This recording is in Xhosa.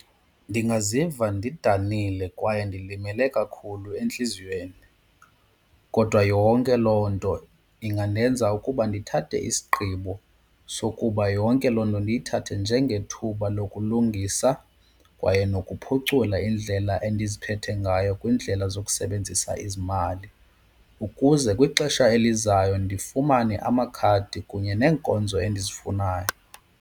Ndingaziva ndidanile kwaye ndilimele kakhulu entliziyweni kodwa yonke loo nto ingandenza ukuba ndithathe isigqibo sokuba yonke loo nto ndiyithathe njengethuba lokulungisa kwaye nokuphucula indlela endiziphethe ngayo kwiindlela zokusebenzisa izimali. Ukuze kwixesha elizayo ndifumane amakhadi kunye neenkonzo endizifunayo.